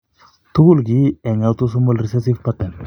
Tugul kiinti en autosomal recessive pattern.